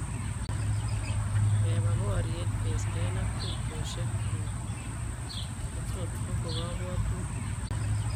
Kebaa boriet kestein ak tubchosiekuuk kotot koko kabwtutik